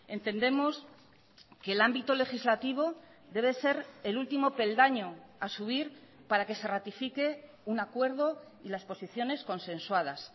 entendemos que el ámbito legislativo debe ser el último peldaño a subir para que se ratifique un acuerdo y las posiciones consensuadas